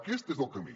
aquest és el camí